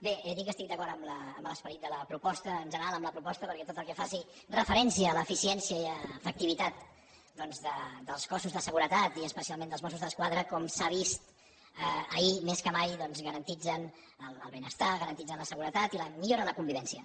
bé he dit que estic d’acord amb l’esperit de la proposta en general amb la proposta perquè tot el que faci referència a l’eficiència i efectivitat doncs dels cossos de seguretat i especialment dels mossos d’esquadra com s’ha vist ahir més que mai doncs garanteixen el benestar garanteixen la seguretat i milloren la convivència